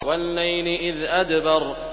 وَاللَّيْلِ إِذْ أَدْبَرَ